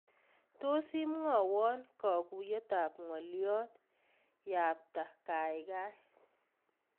Tot imwowon kaakuuyet ab ngoliot yabta kaikai